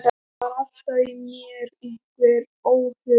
Það var alltaf í mér einhver óhugur.